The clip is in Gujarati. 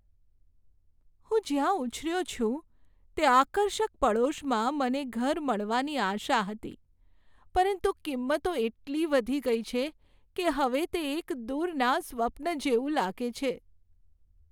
હું જ્યાં ઉછર્યો છું તે આકર્ષક પડોશમાં મને ઘર મળવાની આશા હતી, પરંતુ કિંમતો એટલી વધી ગઈ છે કે હવે તે એક દૂરના સ્વપ્ન જેવું લાગે છે.